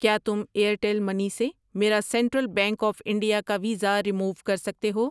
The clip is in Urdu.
کیا تم ایرٹیل منی سے میرا سینٹرل بینک آف انڈیا کا ویزا رموو کر سکتے ہو؟